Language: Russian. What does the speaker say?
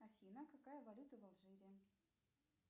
афина какая валюта в алжире